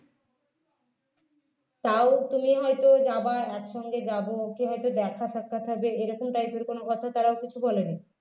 তাও তুমি হয়তো যাবা একসঙ্গে যাব বা হয়তো দেখা সাক্ষাৎ হবে এরকম type এর কোন কথা তারাও কিছু বলেনি